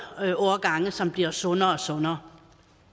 ældreårgange som bliver sundere og sundere